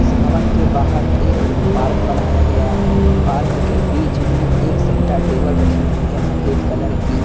इस भवन के बाहर एक पार्क बनाया गया है पार्क के बीच में एक सेंटा टेबल रखी हुई है सफेद कलर की।